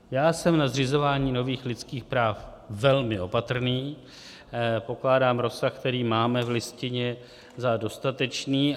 Já jsem na zřizování nových lidských práv velmi opatrný, pokládám rozsah, který máme v Listině, za dostatečný.